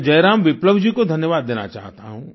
मैं जयराम विप्लव जी को धन्यवाद देना चाहता हूँ